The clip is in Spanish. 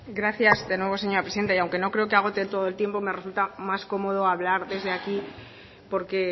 gracias de nuevo señora presidente y aunque no creo que agote todo el tiempo me resulta más cómodo hablar desde aquí porque